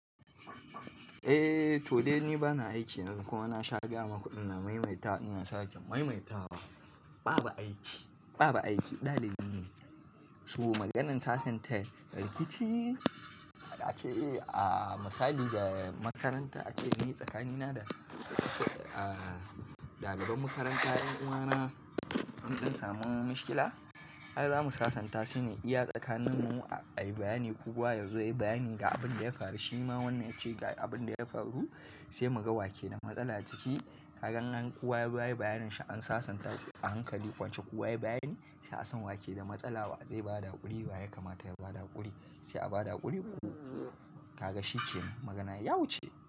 Eh, to dai ni bana aiki kuma na sha gaya maku ina maimaita ina sake maimaita. Babu aiki, babu aiki ɗalibi ne. So maganan sasanta rikici ana ce a misali ga makaranta ace ni tsakanina da daliban makaranta 'yan uwa na mun dan samun mishkila. Kaga zamu sasanta shine iya tsakanin mu a yi bayani kowa yazo ya yi bayani ga abin da ya faru. Shi ma wannan yace ga abin da ya faru sai mu ga wake da matsala ciki. Ga in kowa ya zo yayi bayanin shi an sasanta a hankali kwance kowa ya yi bayani sai a san wake da matsala wa zai bada hakuri wa ya kamata ya bada hakuri sai a bada hakuri. Kaga shi kenan magana ya wuce.